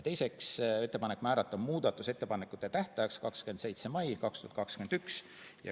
Teiseks otsustati teha ettepanek määrata muudatusettepanekute tähtajaks 27. mai 2021.